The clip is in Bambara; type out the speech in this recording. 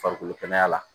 Farikolo kɛnɛya la